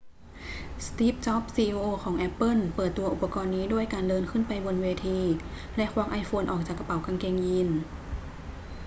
สตีฟ จ็อบส์ ซีอีโอของแอปเปิ้ลเปิดตัวอุปกรณ์นี้ด้วยการเดินขึ้นไปบนเวที แล้วควักไอโฟนออกจากกระเป๋ากางเกงยีน